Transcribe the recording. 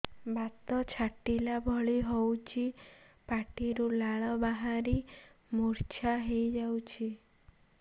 ବାତ ଛାଟିଲା ଭଳି ହଉଚି ପାଟିରୁ ଲାଳ ବାହାରି ମୁର୍ଚ୍ଛା ହେଇଯାଉଛି